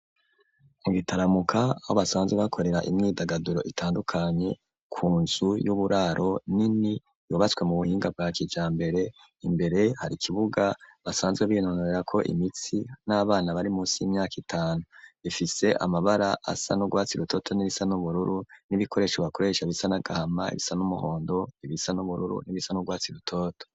Mu gitaramuka aho basanzwe bakorera imyidagaduro itandukanye ku nzu y'uburaro nini yubatswe mu buhinga bwa kija mbere imbere hari ikibuga basanzwe binonorra ko imitsi n'abana bari musi y'imyaka itanu bifise amabara asa n'urwatsi rutoto n'irisa n'ubururu n'ibikoresho bakoresha bisana gahama ibisa n'umuhondo ibisa n'ubururu n'ibisa n'urwatsi rutoto.